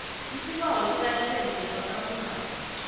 isibawo selayisense yabasafundako